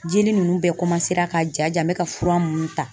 Jeli ninnu bɛɛ ka ja ja n bɛ ka fura minnu ta.